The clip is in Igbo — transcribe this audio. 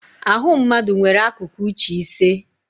Ahụ mmadụ nwere akụkụ uche ise